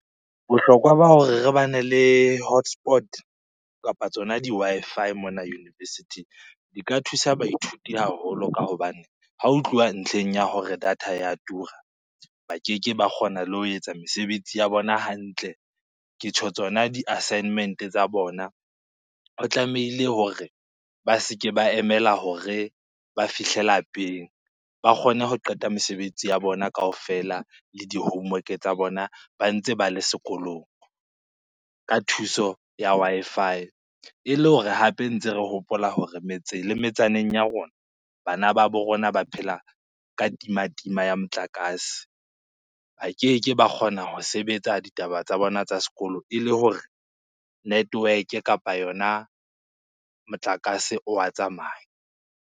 Bohlokwa ba hore re bane le hotspot kapa tsona di-Wi-Fi mona university-ing di ka thusa baithuti haholo. Ka hobane ha ho tluwa ntlheng ya hore data ya tura, ba keke ba kgona le ho etsa mesebetsi ya bona hantle, ke tjho tsona di-assignment-e tsa bona. tlamehile hore ba se ke ba emela hore ba fihle lapeng, ba kgone ho qeta mesebetsi ya bona kaofela le di-homework-e tsa bona ba ntse ba le sekolong ka thuso ya Wi-Fi. E le hore hape ntse re hopola hore metseng le metsaneng ya rona, bana ba bo rona ba phela ka timatima ya motlakase. Ba keke ba kgona ho sebetsa ditaba tsa bona tsa sekolo ele hore network-e kapa yona motlakase o wa tsamaya.